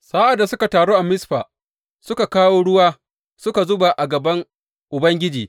Sa’ad da suka taru a Mizfa, suka kawo ruwa suka zuba a gaban Ubangiji.